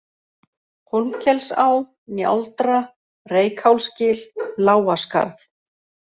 Hólmkelsá, Njáldra, Reykhálsgil, Lágaskarð